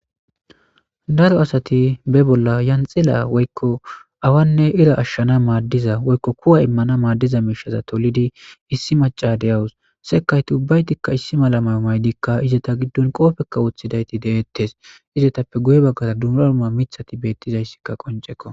daro asati be bolla yanxila woykko awanne ira ashshana maaddiza woykko kuwa immana maaddiza miishaza tolidi issi maca de'awus sekayti ubbaytikka issi mala may maydikka izeta giddon qoofekka wuoththidayti deettes izetappe guye baggaza dumrauma mithati beettizayssikka qoncekko